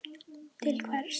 til hvers.